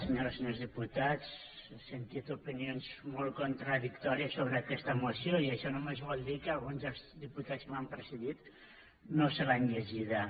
senyores i senyors diputats he sentit opinions molt contradictòries sobre aquesta moció i això només vol dir que alguns dels diputats que m’han precedit no se l’han llegida